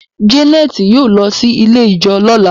Janet yóò ló sì ilẹ̀ ijọ lọla.